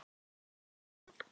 Sem ég varð.